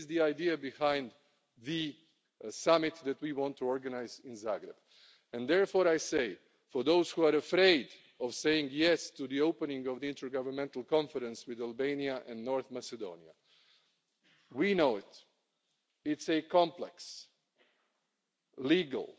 This is the idea behind the summit that we want to organise in Zagreb, and therefore I say for those who are afraid of saying yes' to the opening of the intergovernmental conference with Albania and North Macedonia, we know it's a complex